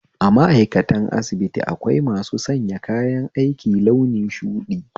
A ma'aikatan asibiti akwai masu sanya kayan aiki launin shuɗi